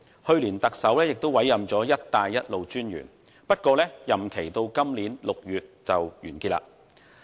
去年，特首也委任了"一帶一路"專員，不過，任期至今年6月底屆滿。